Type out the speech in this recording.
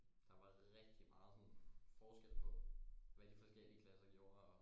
Der var rigtig meget sådan forskel på hvad de forskellige klasser gjorde og